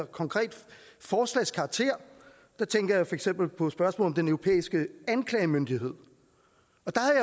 konkret forslagskarakter der tænker jeg for eksempel på spørgsmålet om den europæiske anklagemyndighed